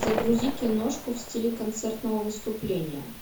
загрузи киношку в стиле концертного выступления